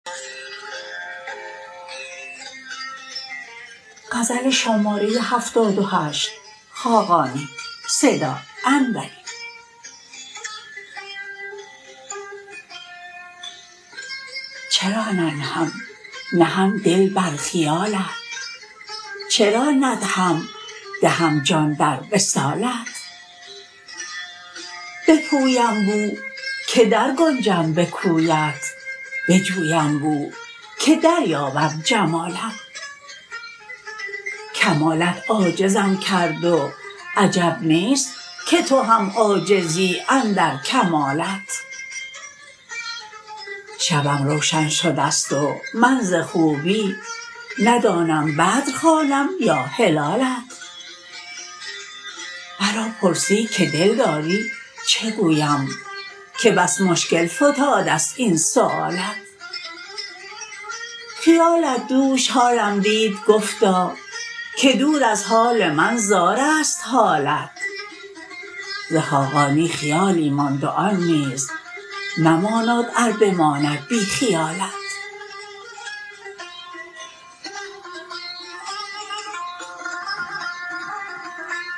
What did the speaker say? چرا ننهم نهم دل بر خیالت چرا ندهم دهم جان در وصالت بپویم بو که درگنجم به کویت بجویم بو که دریابم جمالت کمالت عاجزم کرد و عجب نیست که تو هم عاجزی اندر کمالت شبم روشن شده است و من ز خوبی ندانم بدر خوانم یا هلالت مرا پرسی که دل داری چه گویم که بس مشکل فتاده است این سؤالت خیالت دوش حالم دید گفتا که دور از حال من زار است حالت ز خاقانی خیالی ماند و آن نیز مماناد ار بماند بی خیالت